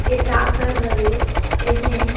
ए डाक घर हवे एमें--